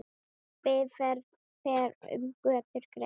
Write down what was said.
Bifreið fer um götur greitt.